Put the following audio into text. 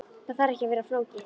Það þarf ekki að vera flókið.